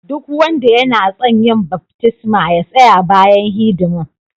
Duk wanda yana tson yin baftisma ya tsaya bayan hidiman.